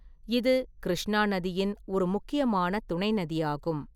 இது கிருஷ்ணா நதியின் ஒரு முக்கியமான துணை நதியாகும்.